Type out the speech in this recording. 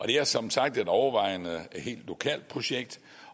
det er som sagt et overvejende helt lokalt projekt